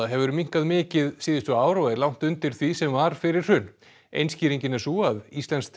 hefur minnkað mikið síðustu ár og er langt undir því sem var fyrir hrun ein skýringin er sú að íslenskt